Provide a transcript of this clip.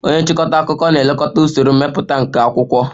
Onye nchịkọta akụkọ ga-elekọta usoro mmepụta nke akwụkwọ